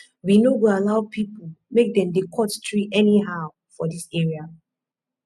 we no go allow pipo make dem dey cut tree anyhow for dis area